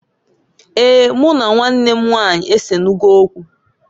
Eeǃ Mụ na nwannw m nwanyị esenugo okwu.